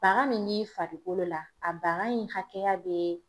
Baga min b'i farikolo la a baga in hakɛya be